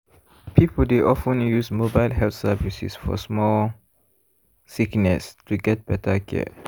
residents dey usually do checkups and collect vaccines to enjoy health services.